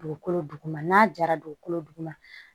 Dugukolo duguma n'a jara dugukolo duguma